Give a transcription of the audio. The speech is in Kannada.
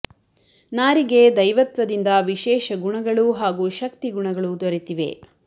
ನಾರಿಗೆ ದೈವತ್ವದಿಂದ ವಿಶೇಷ ಗುಣಗಳು ಹಾಗೂ ಶಕ್ತಿ ಗುಣಗಳು ದೊರೆ ತಿವೆ